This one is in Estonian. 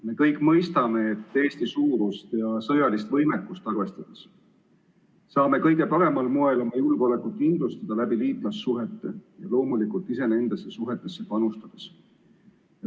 Me kõik mõistame, et Eesti suurust ja sõjalist võimekust arvestades saame kõige paremal moel oma julgeolekut kindlustada liitlassuhete abil ja loomulikult ise nendesse suhetesse panustades.